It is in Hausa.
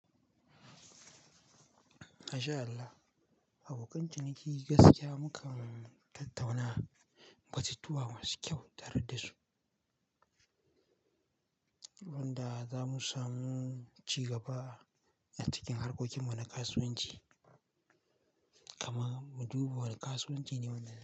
MashaAllah, abokan ciniki gaskiya mukan tattauna batutuwa masu kyau tare dasu, wanda zamu samu ci gaba, a cikin harkokin mu na kasuwanci. Kaman muduba wani kasuwanci ne wannan.